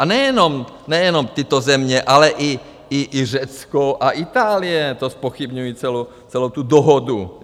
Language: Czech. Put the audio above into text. A nejenom tyto země, ale i Řecko a Itálie to zpochybňují, celou tu dohodu.